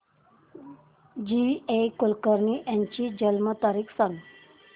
जी A Kulkarni यांची जन्म तारीख सांग